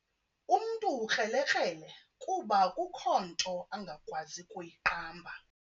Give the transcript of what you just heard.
Umntu ukrelekrele kuba akukho nto angakwazi kuyiqamba.